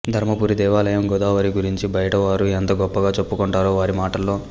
ధర్మపురి దేవాలయం గోదావరి గురించి బయటవారు ఎంత గొప్పగా చేప్పుకొంటరో వారి మాటల్లో